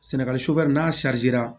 Sɛnɛgali n'a